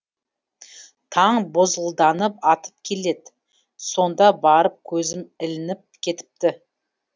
таң бозғылданып атып келеді сонда барып көзім ілініп кетіпті